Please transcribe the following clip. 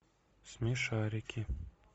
смешарики